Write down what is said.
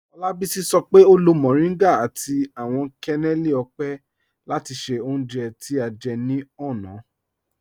Olabisi sọ pe o lo mọrìngá àti awọn kẹnẹlì ọ́pẹ́ láti ṣẹ́ ọ̀unje tí a jẹ́ ni ọ̀na.